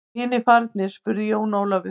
Eru hinir farnir spurði Jón Ólafur.